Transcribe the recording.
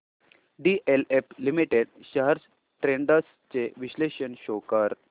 DLF limited shares trends चे विश्लेषण show कर